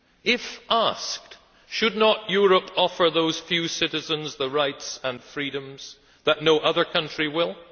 If asked, should not Europe offer those few citizens the rights and freedoms that no other country will?